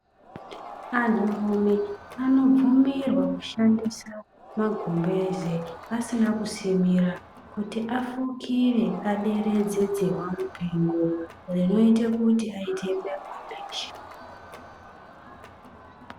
Anturume anobvumirwa kushandisa magumbeze asina kusimira kuti afukire aderedze dzihwamupengo rinoita kuti aite apone